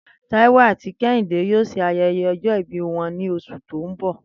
Táiwò àti Ké̩hìndé yóò s̩e aye̩ye̩ o̩jó̩ ìbí wo̩n ní os̩ù tó ń bò̩